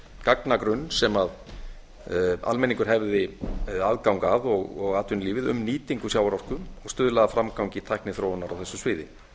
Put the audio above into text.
gagnagrunn sem almenningur hefði aðgang að og atvinnulífið um nýtingu sjávarorku stuðla að framgangi tækniþróunar á þessu sviði